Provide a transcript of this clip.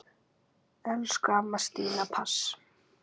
Elsku amma Stína Mass.